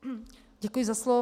Děkuji za slovo.